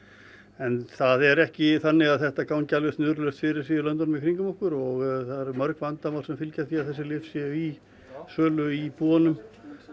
en það er ekki alveg þannig að þetta gangi alveg snuðrulaust fyrir sig í löndunum í kringum okkur og það eru mörg vandamál sem fylgja því að þessi lyf séu í sölu í búðunum